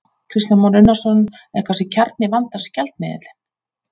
Kristján Már Unnarsson: Er kannski kjarni vandans gjaldmiðillinn?